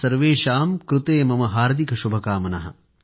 सर्वेषां कृते मम हार्दिकशुभकामनाः